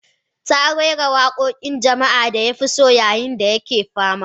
Ta rera wakokin jama'a da ya fi so yayin da yake fama.